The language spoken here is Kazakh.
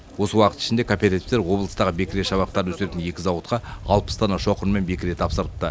осы уақыт ішінде кооперативтер облыстағы бекіре шабақтарын өсіретін екі зауытқа алпыс дана шоқыр мен бекіре тапсырыпты